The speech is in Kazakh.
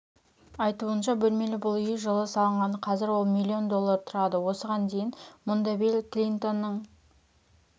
айтуынша бөлмелі бұл үй жылы салынған қазір ол миллион доллар тұрады осыған дейін мұндабилл клинтонның